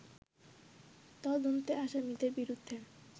তদন্তে আসামিদের বিরুদ্ধে